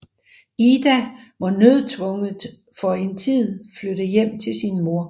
Ida må nødtvungent for en tid flytte hjem til sin mor